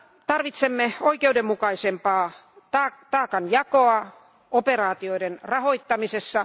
Tarvitsemme oikeudenmukaisempaa taakan jakoa operaatioiden rahoittamisessa.